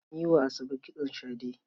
An yi wa Asabe kitson shade.